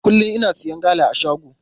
Kullum ina siya gala a shago.